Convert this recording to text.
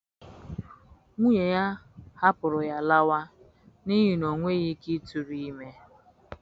Nwunye ya hapụrụ ya laawa n'ihi na o nweghi ike ịtụrụ ime